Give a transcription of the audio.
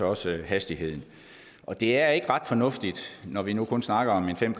også hastigheden og det er ikke ret fornuftigt når vi nu kun snakker